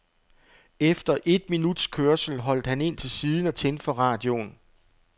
Efter et minuts kørsel holdt han ind til siden og tændte for radioen.